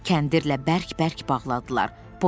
Kəndirlə bərk-bərk bağladılar.